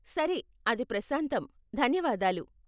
సరే, అది ప్రశాంతం, ధన్యవాదాలు.